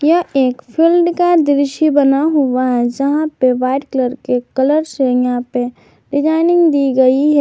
यह एक फील्ड का दृश्य बना हुआ है जहां पर वाइट कलर से यहां पे डिजाइनिंग दी गई है।